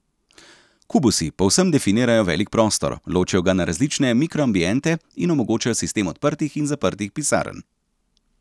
Kubusi povsem definirajo velik prostor, ločijo ga na različne mikroambiente in omogočajo sistem odprtih in zaprtih pisarn.